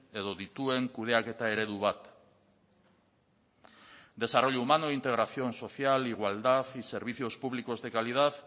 edo dituen kudeaketa eredu bat desarrollo humano integración social igualdad y servicios públicos de calidad